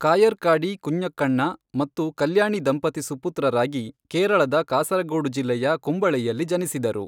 ಕಾಯರ್ಕಾಡಿ ಕುಂಞಕಣ್ಣ ಮತ್ತು ಕಲ್ಯಾಣಿ ದಂಪತಿ ಸುಪುತ್ರರಾಗಿ ಕೇರಳದ ಕಾಸರಗೋಡು ಜಿಲ್ಲೆಯ ಕುಂಬಳೆಯಲ್ಲಿ ಜನಿಸಿದರು